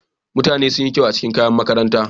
Mutanen sun yi kyau a cikin kayan makaranta.